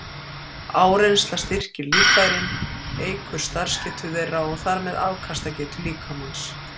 Áreynsla styrkir líffærin, eykur starfsgetu þeirra og þar með afkastagetu líkamans.